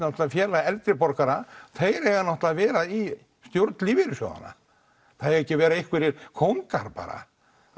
félag eldri borgara þeir eiga náttúrulega að vera í stjórn lífeyrissjóðana það eiga ekki að vera einhverjir kóngar bara